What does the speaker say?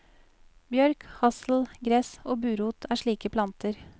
Bjørk, hassel, gress og burot er slike planter.